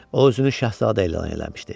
O özünü şahzadə elan eləmişdi.